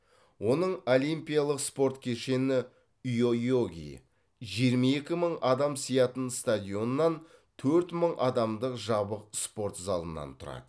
оның олимпиялық спорт кешені йойоги жиырма екі мың адам сиятын стадионнан төрт мың адамдық жабық спорт залынан тұрады